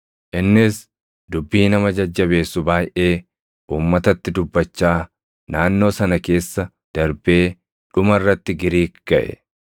Innis dubbii nama jajjabeessu baayʼee uummatatti dubbachaa naannoo sana keessa darbee dhuma irratti Giriik gaʼe;